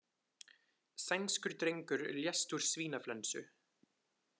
Sænskur drengur lést úr svínaflensu